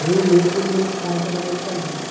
Nem mesmo do meu pai, que era música lírica.